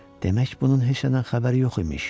Demək bunun heç nədən xəbəri yox imiş.